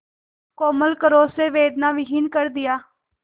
कोमल करों से वेदनाविहीन कर दिया